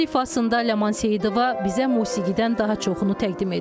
Hər ifasında Ləman Seyidova bizə musiqidən daha çoxunu təqdim edir.